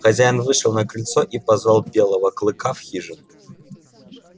хозяин вышел на крыльцо и позвал белого клыка в хижину